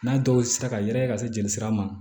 N'a dɔw sera ka yɛrɛkɛ ka se jeli sira ma